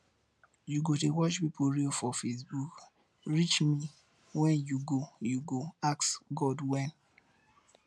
you go dey watch pipu reel for facebook reach wen you go you go ask god when